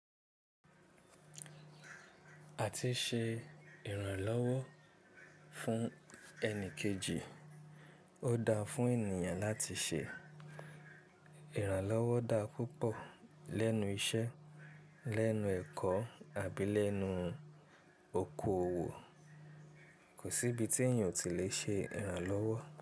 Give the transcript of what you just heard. Àti ṣe ìrànlọ́wọ́ fún ẹni kejì, ó da fún ènìyàn láti ṣe ìrànlọ́wọ́ dá púpọ̀ lẹ́nu iṣẹ́, lẹ́nu ẹ̀kọ́ àbí lẹ́nu okoòwò, kò sí ibi tí èèyàn ò tí lè ṣe ìrànlọ́wọ́.